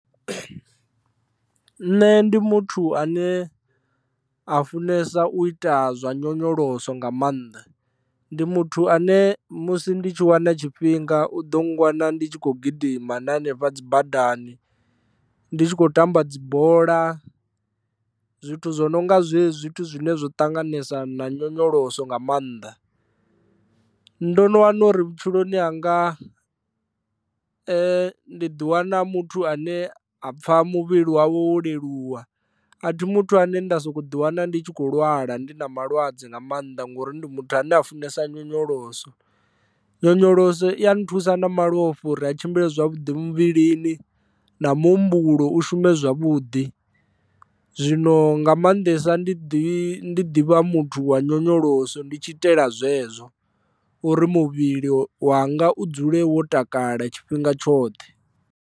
Nṋe ndi muthu ane a funesa u ita zwa nyonyoloso nga maanḓa ndi muthu ane musi ndi tshi wana tshifhinga u ḓo nngwana ndi tshi khou gidima na hanefha dzi badani ndi tshi khou tamba dzibola zwithu zwo no nga zwezwi zwithu zwine zwo ṱanganesa na nyonyoloso nga maanḓa, ndo no wana uri vhutshiloni hanga ndi di wana muthu ane a pfha muvhili wawe wo leluwa a thi muthu ane nda soko ḓi wana ndi tshi kho lwala ndi na malwadze nga maanḓa ngori ndi muthu ane a funesa nyonyoloso, nyonyoloso i ya nthusa na malofha uri a tshimbile zwavhuḓi muvhilini na muhumbulo u shume zwavhuḓi zwino nga maanḓesa ndi ḓivha muthu wa nyonyoloso ndi tshi itela zwezwo uri muvhili wanga u dzule wo takala tshifhinga tshoṱhe.